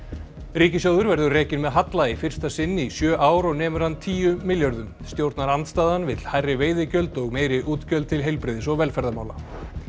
ríkissjóður verður rekinn með halla í fyrsta sinn í sjö ár og nemur hann tíu milljörðum stjórnarandstaðan vill hærri veiðigjöld og meiri útgjöld til heilbrigðis og velferðarmála